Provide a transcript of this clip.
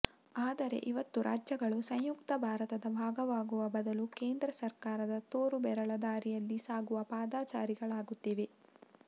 ಆದರೆ ಇವತ್ತು ರಾಜ್ಯಗಳು ಸಂಯುಕ್ತ ಭಾರತದ ಭಾಗವಾಗುವ ಬದಲು ಕೇಂದ್ರ ಸರ್ಕಾರದ ತೋರುಬೆರಳ ದಾರಿಯಲ್ಲಿ ಸಾಗುವ ಪಾದಚಾರಿಗಳಾಗುತ್ತಿವೆ